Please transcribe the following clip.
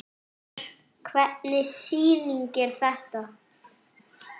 Hvernig sýning er þetta?